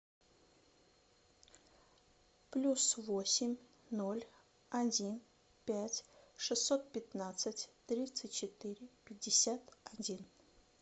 плюс восемь ноль один пять шестьсот пятнадцать тридцать четыре пятьдесят один